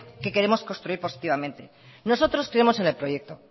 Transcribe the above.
qué queremos construir positivamente nosotros creemos en el proyecto